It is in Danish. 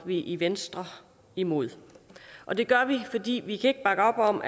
vi i venstre imod og det gør vi fordi vi ikke kan bakke op om